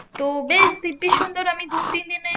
তো বেশ দিব্বি সুন্দর আমি দু তিন দিনে